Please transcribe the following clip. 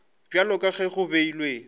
bjalo ka ge go beilwe